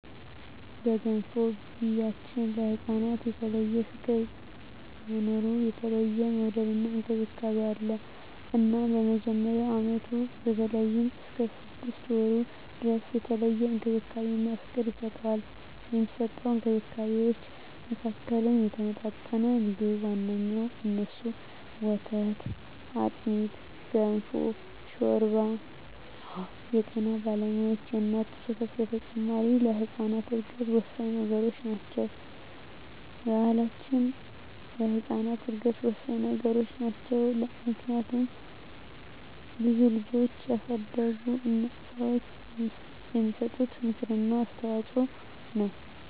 በገንፎ ቢያችን ለህፃናት የተለየ ፍቅር በመኖሩ የተለየ መወደድና እንክብካቤ አለ እናም በመጀመሪያ አመቱ በተለይም እስከ ስድስት ወሩ ድረስ የተለየ እንክብካቤና ፍቅር ይሰጠዋል። ከሚሰጠዉ እንክብካቤወች መካከልም የተመጣጠነ ምግብ ዋነኛዉ እነሱም፦ ወተት፣ አጥሚት፣ ገንፎ፣ ሾርባ አወ የጤና ባለሙያዋች የእናት ጡት ወተት በተጨማሪ ለህጻናት እድገት ወሳኚ ነገሮች ናቸው። በባሕላችንም ለህጻናት እድገት ወሳኚ ነገሮች ናቸው። ምክንያቱም ብዙ ልጆችን ያሳደጉ ሰዋች የሚሰጡት ምክር እና አስተዋጾ ነው።